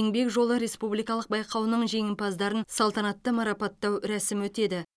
еңбек жолы республикалық байқауының жеңімпаздарын салтанатты марапаттау рәсімі өтеді